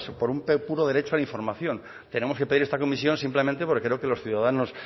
pues por un puro derecho a la información tenemos que pedir esta comisión simplemente porque creo que los ciudadanos